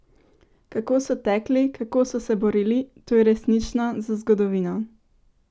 Kako so tekli, kako so se borili, to je resnično za zgodovino!